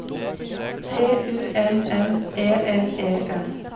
T U N N E L E N